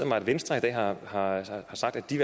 mig at venstre har sagt at de